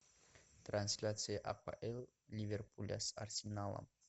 трансляция апл ливерпуля с арсеналом